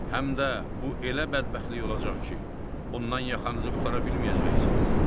Həm də bu elə bədbəxtlik olacaq ki, ondan yaxanızı qurtara bilməyəcəksiniz.